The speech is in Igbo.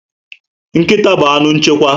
Nkịta bu anụ nchekwa